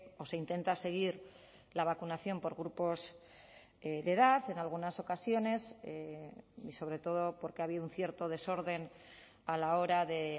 o se intenta seguir la vacunación por grupos de edad en algunas ocasiones y sobre todo porque ha habido un cierto desorden a la hora de